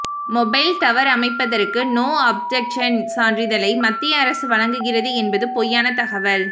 mobile tower அமைப்பதற்கு no objection சான்றிதழை மத்திய அரசு வழங்குகிறது என்பது பொய்யான தகவல்